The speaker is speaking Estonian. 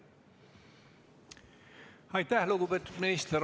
Aitäh, lugupeetud minister!